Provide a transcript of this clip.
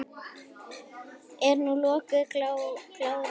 Er nú lokuð glaða bráin?